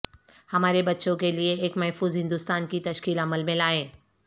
ہمارے بچوں کے لئے ایک محفوظ ہندوستان کی تشکیل عمل میں لائیں